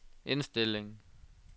indstilling